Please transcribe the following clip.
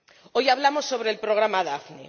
Hoy hablamos sobre el programa Daphne.